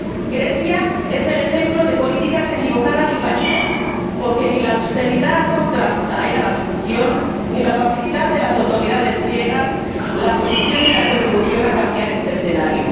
Grecia es el ejemplo de políticas equivocadas y fallidas, porque ni la austeridad a ultranza era la solución ni la pasividad de las autoridades griegas la solución y la contribución a cambiar este escenario.